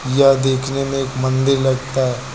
यह देखने में एक मंदिर लगता है।